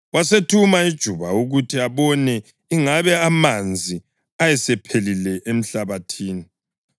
Wasethuma ijuba ukuthi abone ingabe amanzi ayesephelile emhlabathini.